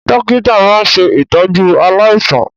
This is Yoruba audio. Dọ́kítà máa ń ṣe ìtọ́jú aláìsàn.